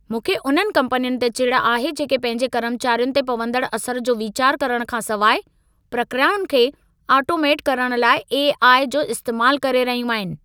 मूंखे उन्हनि कंपनियुनि ते चिढ आहे जेके पंहिंजे कर्मचारियुनि ते पवंदड़ असर जो विचार करण खां सिवाइ, प्रक्रियाउनि खे ओटोमेट करण लाइ ए.आई. जो इस्तैमाल करे रहियूं आहिनि।